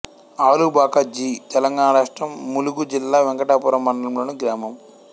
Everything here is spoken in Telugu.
ఆలుబాక జి తెలంగాణ రాష్ట్రం ములుగు జిల్లా వెంకటాపురం మండలంలోని గ్రామం